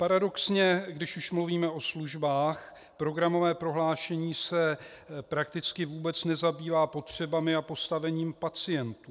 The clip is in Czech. Paradoxně když už mluvíme o službách, programové prohlášení se prakticky vůbec nezabývá potřebami a postavením pacientů.